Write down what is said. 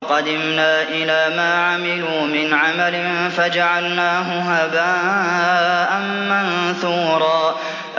وَقَدِمْنَا إِلَىٰ مَا عَمِلُوا مِنْ عَمَلٍ فَجَعَلْنَاهُ هَبَاءً مَّنثُورًا